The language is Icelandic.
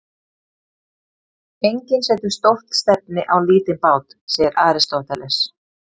Enginn setur stórt stefni á lítinn bát, segir Aristóteles.